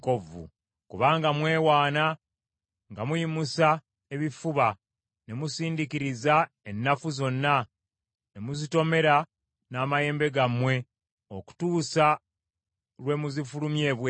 Kubanga mwewaana nga muyimusa ebifuba ne musindikiriza ennafu zonna ne muzitomera n’amayembe gammwe okutuusa lwe muzifulumya ebweru,